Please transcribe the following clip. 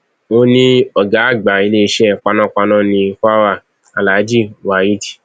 ó ní ọgá àgbà iléeṣẹ panápaná ní kwara alhaji waheed i